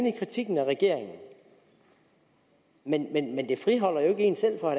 i kritikken af regeringen men det friholder jo ikke en selv fra